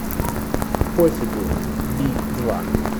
пофигу би два